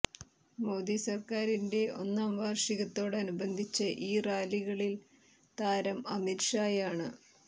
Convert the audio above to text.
മോദി സർക്കാരിന്റെ ഒന്നാം വാർഷികത്തോടനുബന്ധിച്ച ഇ റാലികളിൽ താരം അമിത് ഷായാണ്